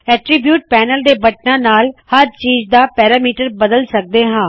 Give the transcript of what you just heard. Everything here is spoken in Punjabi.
ਐਟਰੀਬਿਊਟਸ ਪੈਨਲ ਦੇ ਬਟਨਾੰ ਨਾਲ ਹਰ ਚੀਜ਼ ਦਾ ਮਾਪਦੰਡ ਜਾੰ ਪੈਰਾਮੀਟਰਸ ਬਦਲ ਸਰਦੇ ਹਾ